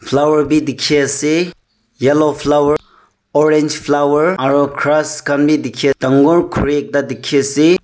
flower bhi dekhi ase yellow flower orange flower aru grass khan bhi dekhi ase dagur khori ekta dekhi ase.